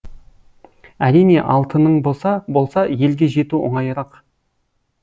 әрине алтының болса елге жету оңайырақ